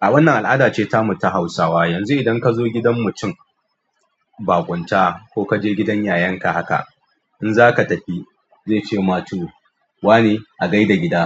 A wannan al'ada ce ta mu ta Hausawa. Yanzu idan ka zo gidan mutum ba kwanta ko ka je gidan yayanka haka in za ka tafi zai ce ma tu wane a gai da gida,